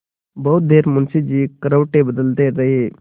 बहुत देर मुंशी जी करवटें बदलते रहे